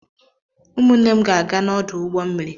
Ụmụnne m ga-aga n'ọdụ ụgbọ mmiri.